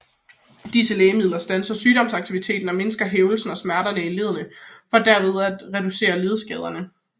Disse lægemidler standser sygdomsaktiviteten og mindsker hævelsen og smerterne i leddene for derved at reducere ledskaderne